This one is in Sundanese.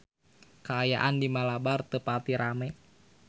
Kaayaan di Malabar teu pati rame